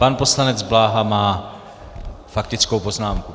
Pan poslanec Bláha má faktickou poznámku.